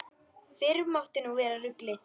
Fyrr mátti nú vera ruglið!